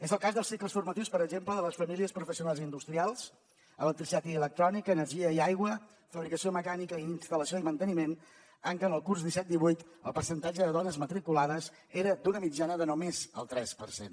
és el cas dels cicles formatius per exemple de les famílies professionals industrials electricitat i electrònica energia i aigua fabricació mecànica i instal·lació i manteniment en què en el curs disset divuit el percentatge de dones matriculades era d’una mitjana de només el tres per cent